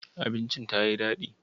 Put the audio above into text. Abincin ta yi dadi?